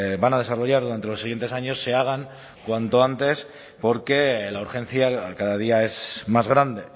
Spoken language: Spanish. van a desarrollar durante los siguientes años se hagan cuanto antes porque la urgencia cada día es más grande